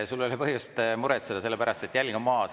Sul ei ole põhjust muretseda, sellepärast et jälg on maas.